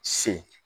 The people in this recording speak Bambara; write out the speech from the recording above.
Se